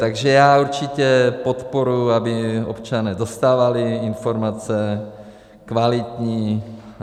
Takže já určitě podporuju, aby občané dostávali informace, kvalitní.